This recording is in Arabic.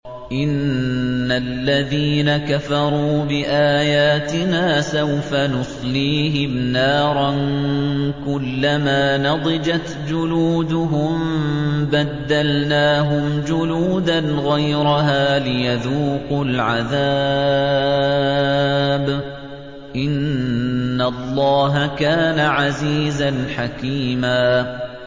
إِنَّ الَّذِينَ كَفَرُوا بِآيَاتِنَا سَوْفَ نُصْلِيهِمْ نَارًا كُلَّمَا نَضِجَتْ جُلُودُهُم بَدَّلْنَاهُمْ جُلُودًا غَيْرَهَا لِيَذُوقُوا الْعَذَابَ ۗ إِنَّ اللَّهَ كَانَ عَزِيزًا حَكِيمًا